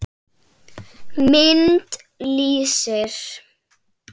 Mynd: Lýsi.